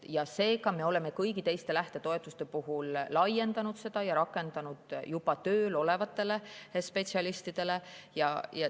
Me oleme kõigi teiste lähtetoetuste laiendanud ja rakendame juba tööl olevate spetsialistide suhtes.